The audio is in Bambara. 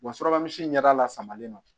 Wa surakamu si ɲɛda lasaamalen don